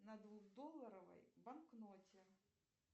на двух долларовой банкноте